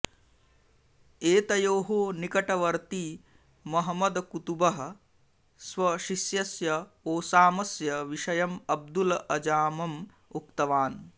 एतयोः निकटवर्ती महमद् कुतुबः स्वशिष्यस्य ओसामस्य विषयम् अब्दुल् अजामम् उक्तवान्